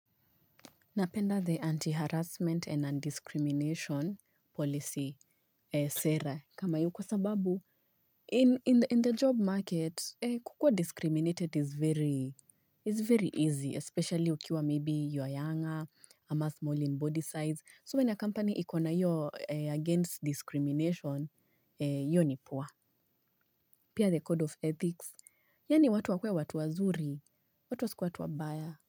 Napenda the anti-harassment and undiscrimination policy sera. Kama hiyo kwa sababu, in the job market, kukuwa discriminated is very easy, especially ukiwa maybe you are younger, ama small in body size. So when a company ikona hiyo against discrimination, hiyo ni poa. Pia the code of ethics, yaani watu wakuwe watu wazuri, watu wasikuwe watu wabaya.